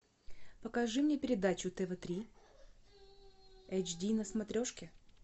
покажи мне передачу тв три эйч ди на смотрешке